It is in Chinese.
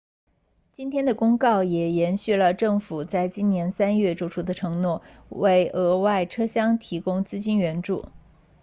今天的公告也延续了政府在今年3月作出的承诺为额外车厢提供资金援助